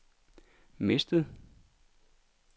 mistet